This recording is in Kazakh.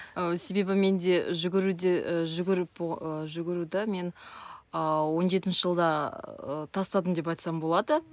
і себебі менде жүгіруде і жугіріп і жүгіруді мен ыыы он жетінші жылда ы тастадым деп айтсам болады